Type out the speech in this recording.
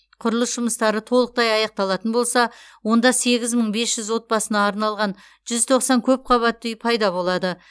құрылыс жұмыстары толықтай аяқталатын болса онда сегіз мың бес жүз отбасына арналған жүз тоқсан көпқабатты үй пайда болады